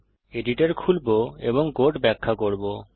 সুতরাং আমি এডিটর খুলবো এবং কোড ব্যাখ্যা করব